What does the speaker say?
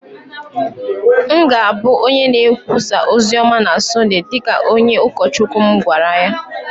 M ga-abụ onye na-ekwusa ozi ọma na Sọnde, dị ka onye ụkọchukwu m gwara ya.